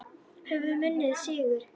Höfum unnið sigur.